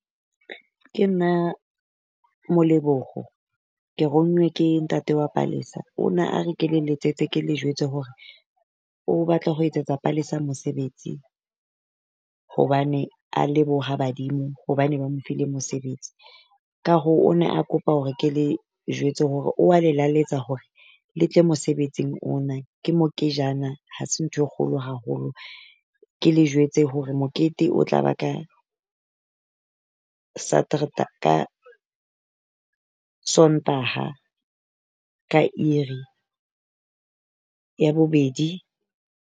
Ke nna Molebokgo, ke ronngwe ke ntate wa Palesa. O ne a re ke le letsetse, ke le jwetse hore o batla ho etsetsa Palesa mosebetsi, hobane a leboha badimo hobane ba mo file mosebetsi. Ka hoo o ne a kopa hore ke le jwetse hore o a laletsa hore le tle mosebetsing ona. Ke mokejana, ha se nthwe kgolo haholo Ke le jwetse hore mokete o tla ba ka ka Sontaha ka uur-i ya bobedi.